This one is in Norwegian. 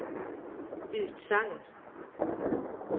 utsagn